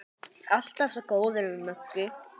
Alltaf svo góður við Möggu.